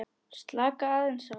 Slaka aðeins á.